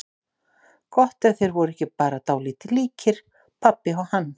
Gott ef þeir voru ekki bara dálítið líkir, pabbi og hann.